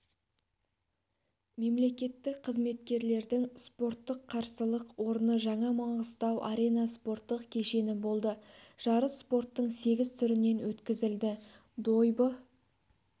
мемлекеттік қызметкерлердің спорттық қарсылық орны жаңа маңғыстау-арена спорттық кешені болды жарыс спорттың сегіз түрінен өткізілді дойбы